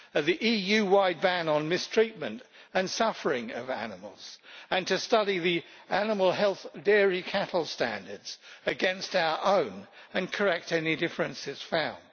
the EU-wide ban on mistreatment and suffering of animals to study the animal health dairy cattle standards against our own and correct any differences found